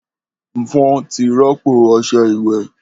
Mfon ti rọpo ọṣẹ iwẹ.